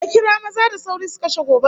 A kira maza da sauri su kashe gobarar!